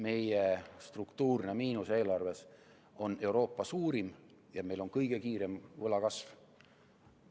Meie struktuurne miinus eelarves on Euroopa suurim ja meil on kõige kiirem võla kasv.